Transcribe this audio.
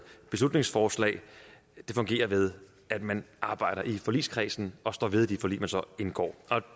beslutningsforslag det fungerer ved at man arbejder i forligskredsen og står ved de forlig man så indgår